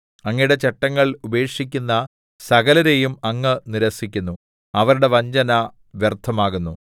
അങ്ങയുടെ ചട്ടങ്ങൾ ഉപേക്ഷിക്കുന്ന സകലരേയും അങ്ങ് നിരസിക്കുന്നു അവരുടെ വഞ്ചന വ്യർത്ഥമാകുന്നു